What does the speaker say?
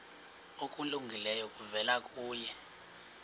okulungileyo kuvela kuye